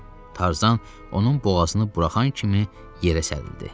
Tarzan onun boğazını buraxan kimi yerə sərildi.